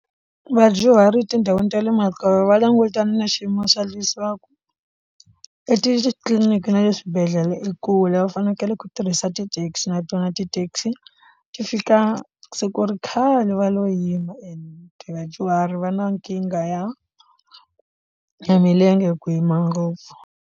Vadyuhari etindhawini ta le makaya va langutana na xiyimo xa leswaka etitliliniki na le swibedhlele ekule va fanekele ku tirhisa ti taxi na tona na ti taxi ti fika se ku ri khale va lo yima ende vadyuhari va na nkingha ya ya milenge ku yima ngopfu.